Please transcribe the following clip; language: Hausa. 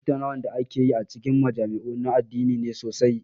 Tattaunawar da ake yi a cikin majami'u na addini ne sosai.